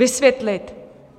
Vysvětlit?